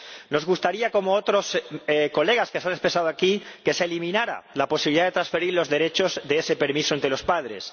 Nos gustaría, como a otros colegas que se han expresado aquí, que se eliminara la posibilidad de transferir los derechos de ese permiso entre los padres.